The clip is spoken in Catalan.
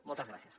moltes gràcies